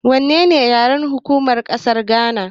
Wannene yaren hukuma na ƙasar Gana.